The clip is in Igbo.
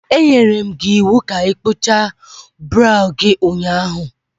Anyere m gị iwu ka ị kpụchaa brow gị ụnyaahụ.